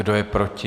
Kdo je proti?